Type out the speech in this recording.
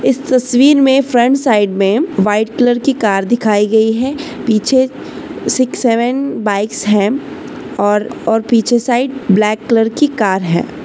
इस तस्वीर में फ्रंट साइड मे व्हाइट कलर की कार दिखाई गयी है पीछे सिक्स सेवेन बाइक्स है और और पीछे साइड ब्लॅक कलर की कार है।